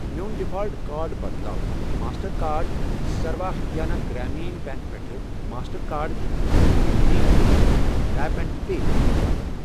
میون default card بدلاو master card Sarva Haryana Gramin bank پٮ۪ٹھٕ master card Jammu Kashmir Gramin bank tap and pay method باپتھ۔